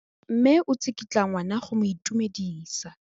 Mme o tsikitla ngwana go mo itumedisa.